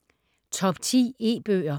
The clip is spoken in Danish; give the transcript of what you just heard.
Top 10 E-bøger